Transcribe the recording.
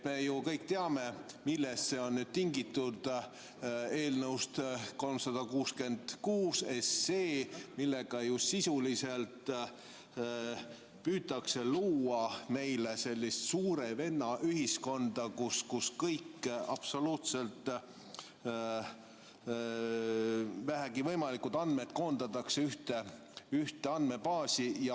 Me ju kõik teame, millest see on tingitud, eelnõust 366, millega sisuliselt püütakse luua meile sellist suure venna ühiskonda, kus kõik absoluutselt võimalikud andmed koondatakse ühte andmebaasi.